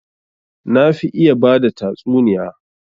Na fi iya bada tatsuniya